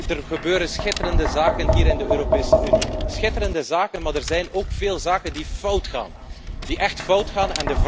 Er gebeuren schitterende zaken hier in de Europese Unie, schitterende zaken, maar er zijn ook veel zaken die fout gaan, die echt fout gaan.